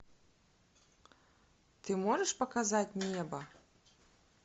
ты можешь показать небо